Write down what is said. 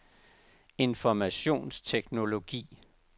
informationsteknologi